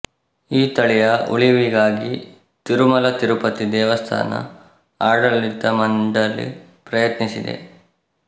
ಈ ತಳಿಯ ಉಳಿವಿಗಾಗಿ ತಿರುಮಲ ತಿರುಪತಿ ದೇವಸ್ಥಾನ ಆಡಳಿತ ಮಂಡಳಿ ಪ್ರಯತ್ನಿಸಿದೆ